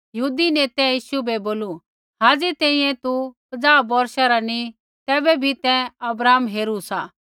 यहूदी नेतै यीशु बै बोलू हाज़ी तैंईंयैं तू पजाह बौर्षा रा नैंई तैबै भी तैं अब्राहम हेरू सा